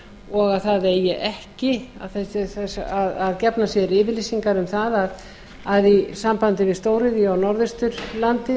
yfir að það sé vilji til þess að vernda skjálfandafljót og gefnar séu yfirlýsingar um að í sambandi við stóriðju